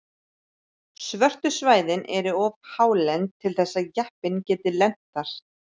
Svörtu svæðin eru of hálend til þess að jeppinn geti lent þar.